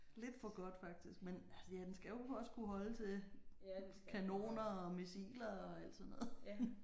Lidt for godt faktisk men ja den skal jo også kunne holde til kanoner og missiler og alt sådan noget